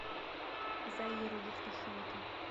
заиру евтушенко